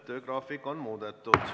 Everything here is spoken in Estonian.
Töögraafik on muudetud.